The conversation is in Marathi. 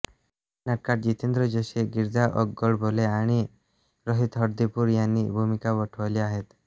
या नाटकात जितेंद्र जोशी गिरीजा ओकगोडबोले आणि रोहित हळदीपूर यांनी भूमिका वठवल्या आहेत